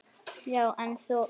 Já, en þú.